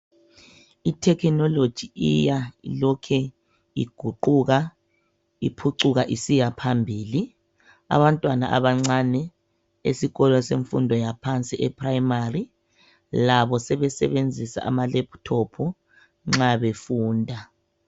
I"technology" iya ilokhe iguquka iphucuka isiya phambili. Abantwana abancane esikolo semfundo yaphansi ePhuremari labo sebesebenzisa ama "laptop" nxa befunda.